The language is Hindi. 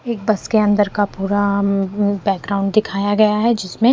एक बस के अंदर का पूरा अ बैकग्राउंड दिखाया गया है जिसमें--